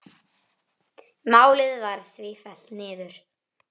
Málið var því fellt niður.